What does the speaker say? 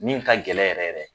Min ka gɛlɛn yɛrɛ yɛrɛ